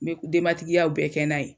N be denbatigiyaw bɛɛ kɛ n'a ye